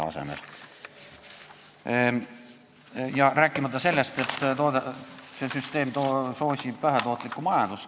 Ma ei räägigi sellest, et see süsteem soosib vähetootlikku majandust.